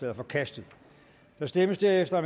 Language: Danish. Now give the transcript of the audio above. er forkastet der stemmes derefter